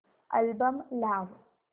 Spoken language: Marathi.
अल्बम लाव